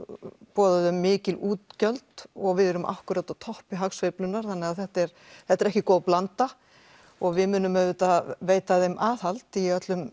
boða þau mikil útgjöld og við erum akkúrat á toppi hagsveiflunnar þannig þetta er þetta er ekki góð blanda og við munum auðvitað veita þeim aðhald í öllum